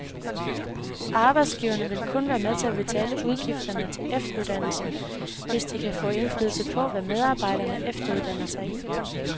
Arbejdsgiverne vil kun være med til at betale udgifterne til efteruddannelsen, hvis de kan få indflydelse på, hvad medarbejderne efteruddanner sig i.